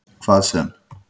Hvað sem